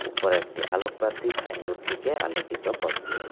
উপরে একটি আলোকবাতি সাইনবোর্ডটিকে আলোকিত করছে।